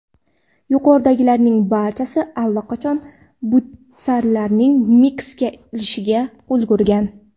Yuqoridagilarning barchasi allaqachon butsalarini mixga ilishga ulgurgan.